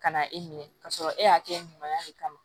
Ka na e minɛ ka sɔrɔ e y'a kɛ ɲuman de kama